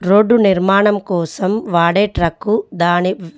Road నిర్మాణం కోసం వాడే ట్రక్కు దాని--.